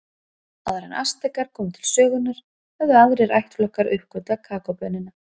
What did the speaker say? Áður en Astekar komu til sögunnar höfðu aðrir ættflokkar uppgötvað kakóbaunina.